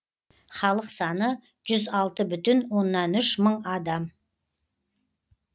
халық саны жүз алты бүтін оннан үш мың адам